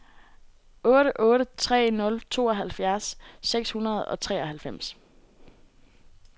otte otte tre nul tooghalvfjerds seks hundrede og treoghalvfems